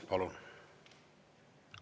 Palun!